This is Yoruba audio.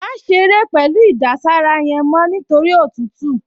Má ṣeré pẹ̀lú ìdására yẹn mọ́ nítorí òtútù!